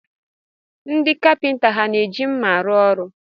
Ndị kapịnta ha na-eji nma arụ ọrụ?